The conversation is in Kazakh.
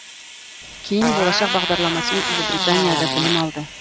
кейін болашақ бағдарламасымен ұлыбританияда білім алды